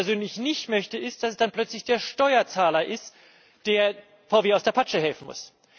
Was ich persönlich nicht möchte, ist, dass es dann plötzlich der Steuerzahler ist, der VW aus der Patsche helfen muss.